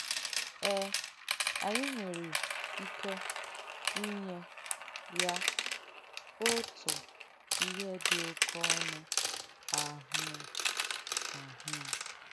Ee, ànyị nwērē ìkẹ ìnyẹ ya òtụ̀ ihe dì òké ọ̀nụ̀ àhụ̀à. àhụ̀à.